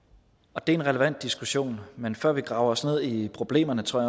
og det er en relevant diskussion men før vi graver os ned i problemerne tror